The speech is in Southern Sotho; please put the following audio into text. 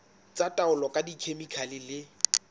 tsa taolo ka dikhemikhale le